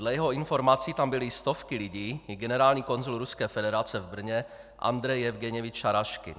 Dle jeho informací tam byly stovky lidí i generální konzul Ruské federace v Brně Andrej Jevgenjevič Šaraškin.